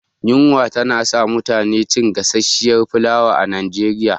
Yunwa ta sa mutane na cin gasasshiyar fulawa a Nigeria